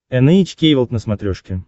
эн эйч кей волд на смотрешке